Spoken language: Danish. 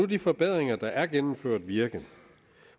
de forbedringer der er blevet gennemført virke